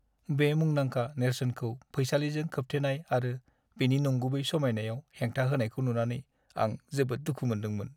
बे मुंदांखा नेरसोनखौ फैसालिजों खोबथेनाय आरो बेनि नंगुबै समायनायाव हेंथा होनायखौ नुनानै आं जोबोद दुखु मोनदोंमोन।